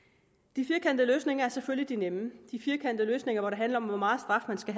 de firkantede løsninger er selvfølgelig de nemme de firkantede løsninger hvor det handler om hvor meget straf man skal